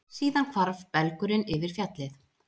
Síðan hvarf belgurinn yfir fjallið.